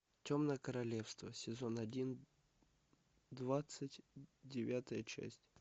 темное королевство сезон один двадцать девятая часть